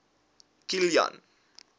kilian